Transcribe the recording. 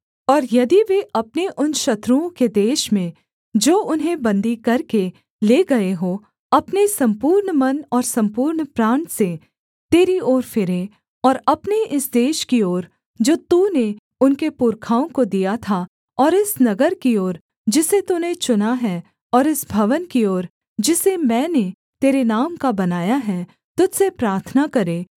और यदि वे अपने उन शत्रुओं के देश में जो उन्हें बन्दी करके ले गए हों अपने सम्पूर्ण मन और सम्पूर्ण प्राण से तेरी ओर फिरें और अपने इस देश की ओर जो तूने उनके पुरखाओं को दिया था और इस नगर की ओर जिसे तूने चुना है और इस भवन की ओर जिसे मैंने तेरे नाम का बनाया है तुझ से प्रार्थना करें